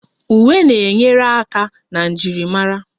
Uwe na-enyere aka na njirimara